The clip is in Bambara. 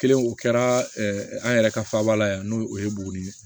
Kelen o kɛra an yɛrɛ ka faaba la yan n'o ye buguni ye